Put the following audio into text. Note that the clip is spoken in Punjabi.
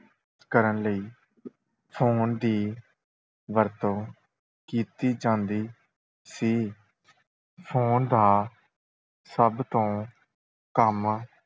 ਕਰਨ ਲਈ phone ਦੀ ਵਰਤੋਂ ਕੀਤੀ ਜਾਂਦੀ ਸੀ phone ਦਾ ਸਭ ਤੋਂ ਕੰਮ